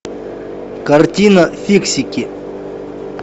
картина фиксики